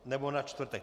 Nebo na čtvrtek.